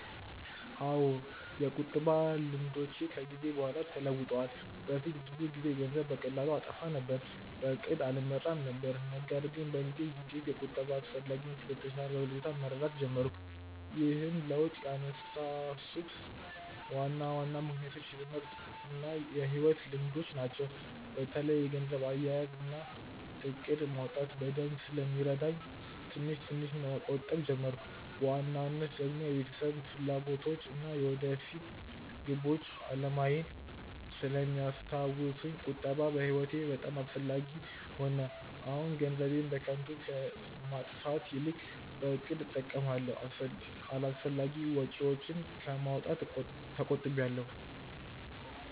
አዎ፣ የቁጠባ ልምዶቼ ከጊዜ በኋላ ተለውጠዋል። በፊት ብዙ ጊዜ ገንዘብን በቀላሉ አጠፋ ነበር። በእቅድም አልመራም ነበር። ነገር ግን በጊዜ ሂደት የቁጠባን አስፈላጊነት በተሻለ ሁኔታ መረዳት ጀመርኩ። ይህን ለውጥ ያነሳሱት ዋና ዋና ምክንያቶች የትምህርት እና የሕይወት ልምዶች ናቸው። በተለይም የገንዘብ አያያዝ እና እቅድ ማውጣት በደንብ ስለሚረዳ ትንሽ ትንሽ መቆጠብ ጀመርኩ። በዋናነት ደግሞ የቤተሰብ ፍላጎቶች እና የወደፊት ግቦች አላማዬን ስለሚያስታውሱኝ ቁጠባ በህይወቴ በጣም አስፈላጊ ሆነ። አሁን ገንዘቤን በከንቱ ከማጥፋት ይልቅ በእቅድ እጠቀማለሁ፣ አላስፈላጊ ወጪዎችን ከማውጣት ተቆጥቢያለው።